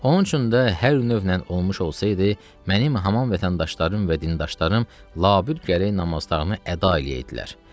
Onun üçün də hər növ ilə olmuş olsaydı, mənim haman vətəndaşlarım və dindaşlarım labüd gərək namazlarını əda eləyəydilər.